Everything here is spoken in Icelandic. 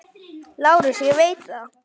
LÁRUS: Ég veit það.